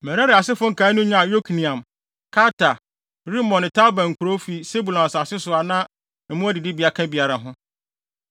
Merari asefo nkae no nyaa Yokneam, Karta, Rimon ne Tabor nkurow, fi Sebulon asase so, a na mmoa adidibea ka biara ho.